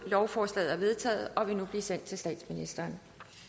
lovforslaget er vedtaget og vil nu blive sendt til statsministeren